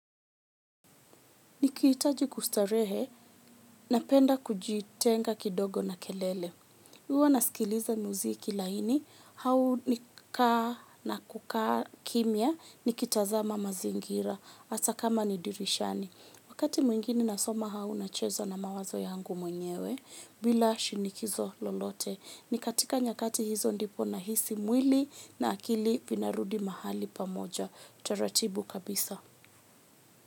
Nikiitaji kustarehe, napenda kujitenga kidogo na kelele. Huwa nasikiliza muziki laini hau nikukaa kimia nikitazama mazingira hata kama ni dirishani. Wakati mwingine nasoma hau unacheza na mawazo yangu mwenyewe, bila shinikizo lolote. Nikatika nyakati hizo ndipo nahisi mwili na akili vinarudi mahali pamoja, utaratibu kabisa.